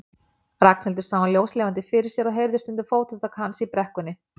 Ragnhildur sá hann ljóslifandi fyrir sér og heyrði stundum fótatak hans í brekkunni.